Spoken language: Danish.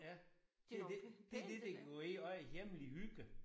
Ja. Det det det det det går ind under hjemlig hygge